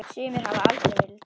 Sumir hafa aldrei verið til.